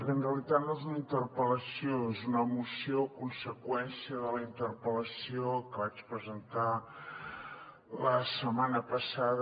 bé en realitat no és una interpel·lació és una moció conseqüència de la interpel·lació que vaig presentar la setmana passada